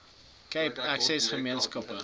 cape access gemeenskappe